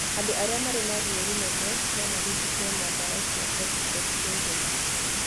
Andũ arĩa marĩ na ruo rũnene no marigitwo na dawa cia corticosteroid.